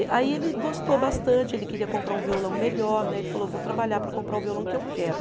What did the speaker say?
Aí ele gostou bastante, ele queria comprar um violão melhor né, ele falou, vou trabalhar para comprar o violão que eu quero.